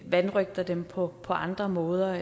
vanrøgter dem på andre måder